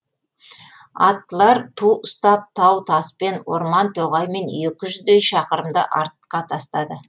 аттылар ту ұстап тау таспен орман тоғаймен екі жүздей шақырымды артқа тастады